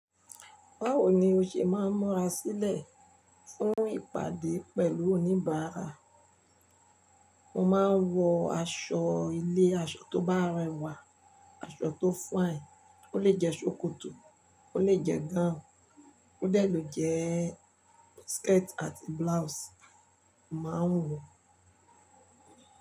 Báwo ni o ṣe máa ń mọra sílẹ̀ fún ìpàdé pẹ̀lú oníbàárà? Mo máa ń wọ aṣọ ilé, aṣọ tó bá rẹwà, aṣọ tó fine, ó lè jẹ ṣòkòtò, ó lè jẹ gáùn, ó lè jẹ skirt àti blouse mo máa ń wọ.